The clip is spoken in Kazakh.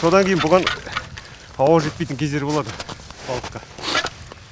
содан кейін бұған ауа жетпейтін кездері болады балыққа